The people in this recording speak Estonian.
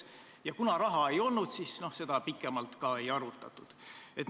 Ja kuna raha ei olnud, siis seda pikemalt ka ei arutatud.